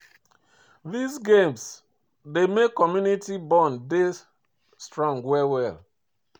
These games dey make community bond dey strong well well